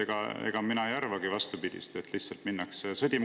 Aga vastupidi, mina ei arva, et lihtsalt minnakse sõdima.